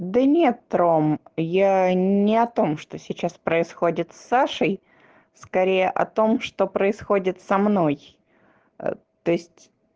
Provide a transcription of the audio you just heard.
да нет ром я не о том что сейчас происходит с сашей скорее о том что происходит со мной то есть